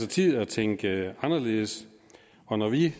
til at tænke anderledes og når vi